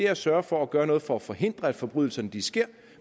at sørge for at gøre noget for at forhindre at forbrydelserne sker